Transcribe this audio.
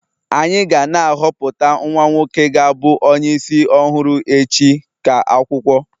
anyị ga na-ahọpụta nwa nwoke ga-abu onye isi ọhụrụ echi ka akwụkwọ